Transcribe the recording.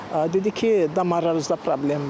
Dedi ki, damarlarınızda problem var.